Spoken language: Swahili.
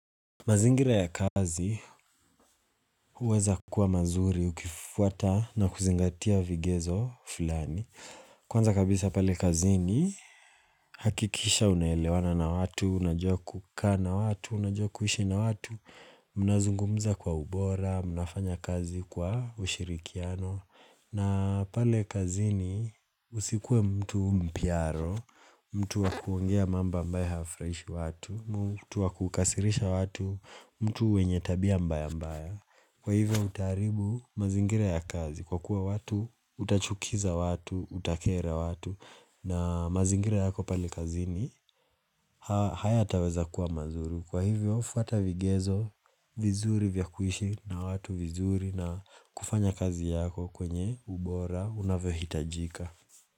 Mazingira ya kazi, huweza kuwa mazuri, ukifuata na kuzingatia vigezo fulani. Kwanza kabisa pale kazini, hakikisha unaelewana na watu, unajua kukaa na watu, unajua kuishi na watu, mnazungumza kwa ubora, mnafanya kazi kwa ushirikiano. Na pale kazini, usikue mtu mpyaro, mtu wakuongea mambo ambayo hayafurahishi watu, mtu wakukasirisha watu mtu mwenye tabia mbaya mbaya Kwa hivyo utaharibu mazingira ya kazi Kwa kuwa watu utachukiza watu Utakera watu na mazingira yako pale kazini Hayataweza kuwa mazuri Kwa hivyo fuata vigezo vizuri vya kuishi na watu vizuri na kufanya kazi yako kwenye ubora Unavyohitajika.